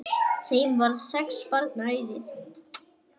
Þeim varð sex barna auðið.